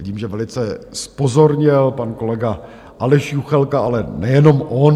Vidím, že velice zpozorněl pan kolega Aleš Juchelka, ale nejenom on.